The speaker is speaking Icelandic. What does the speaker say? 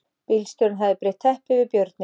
Bílstjórinn hafði breitt teppi yfir björninn